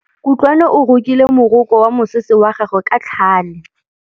Kutlwanô o rokile morokô wa mosese wa gagwe ka tlhale.